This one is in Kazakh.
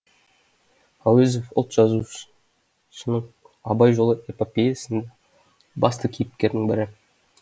әуезов ұлт жазушының абай жолы эпопеясындағы басты кейіпкердің бірі